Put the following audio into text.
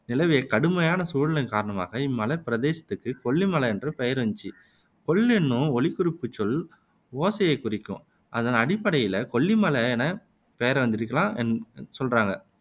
நிலவிய கடுமையான சூழலின் காரணமாக இம்மலைப் பிரதேசத்துக்கு கொல்லி மலை என்ற பெயர் இருந்திச்சு கொல் என்னும் ஒலிக்குறிப்புச் சொல் ஓசையைக் குறிக்கும் அதன் அடிப்படையில கொல்லிமலை எனப் பெயர் வந்திருக்கலாம் என சொல்றாங்க